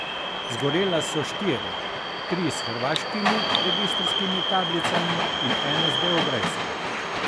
Zgorela so štiri, tri s hrvaškimi registrskimi tablicami in eno z beograjsko.